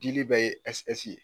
Dili bɛ ye S S ye